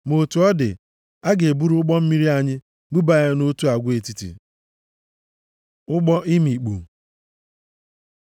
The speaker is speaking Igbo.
Ma otu ọ dị, a ga-eburu ụgbọ mmiri anyị buba ya nʼotu agwa etiti.” Ụgbọ imikpu